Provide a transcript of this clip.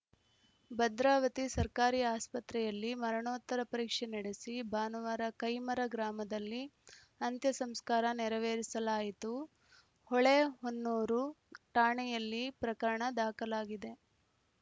ಭದ್ರಾವತಿ ಸರ್ಕಾರಿ ಆಸ್ಪತ್ರೆಯಲ್ಲಿ ಮರಣೋತ್ತರ ಪರೀಕ್ಷೆ ನಡೆಸಿ ಭಾನುವಾರ ಕೈಮರ ಗ್ರಾಮದಲ್ಲಿ ಅಂತ್ಯಸಂಸ್ಕಾರ ನೆರವೇರಿಸಲಾಯಿತು ಹೊಳೆಹೊನ್ನೂರು ಠಾಣೆಯಲ್ಲಿ ಪ್ರಕರಣ ದಾಖಲಾಗಿದೆ